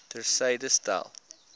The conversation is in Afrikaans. ter syde stel